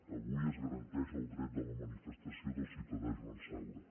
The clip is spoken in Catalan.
avui es garanteix el dret a la manifestació del ciutadà joan saura